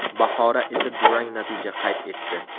Bahora esa durang natija qayd etdi.